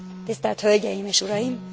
Tisztelt hölgyeim és uraim!